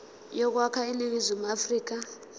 yokwakha iningizimu afrika